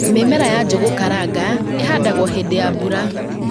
Mĩmera ya njũgũ karanga ĩhandagwo hindĩ ya mbura